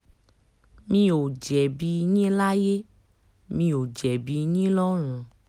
mi ò jẹ̀bi yín láyé mi ò jẹ̀bi yín lọ́rùn